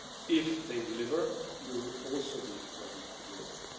If they deliver, we will also be ready to deliver.